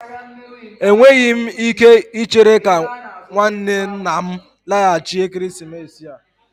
Enweghị m ike ichere ka nwanne nna m laghachi ekeresimesi a